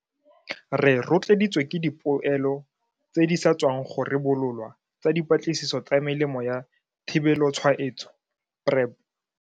Re rotloeditswe ke dipoelo tse di sa tswang go ribololwa tsa dipatlisiso tsa Melemo ya Thibelotshwaetso PrEP.